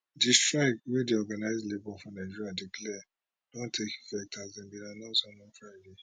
di strike wey di organized labour for nigeria declare don take effect as dem bin announce am on friday